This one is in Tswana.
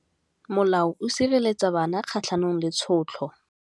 Molao o sireletsa bana kgatlhanong le tshotlo.